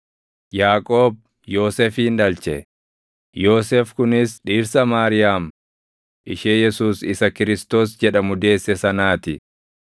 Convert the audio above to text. Yaaqoob Yoosefin dhalche; Yoosef kunis dhirsa Maariyaam ishee Yesuus isa Kiristoos jedhamu deesse sanaa ti.